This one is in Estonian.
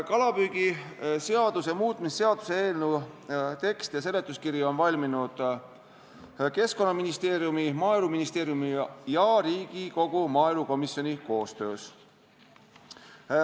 Kalapüügiseaduse muutmise seaduse eelnõu tekst ja seletuskiri on valminud Keskkonnaministeeriumi, Maaeluministeeriumi ja Riigikogu maaelukomisjoni koostöös.